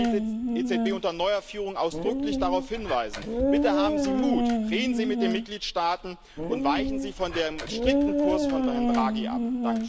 Daher möchte ich die EZB unter neuer Führung ausdrücklich darauf hinweisen Bitte haben Sie Mut, reden Sie mit den Mitgliedstaaten und weichen Sie von dem strikten Kurs von Herrn Draghi ab!